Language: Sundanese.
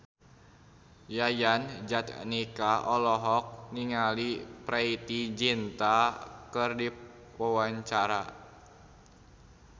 Yayan Jatnika olohok ningali Preity Zinta keur diwawancara